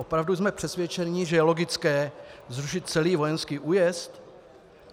Opravdu jsme přesvědčeni, že je logické zrušit celý vojenský újezd?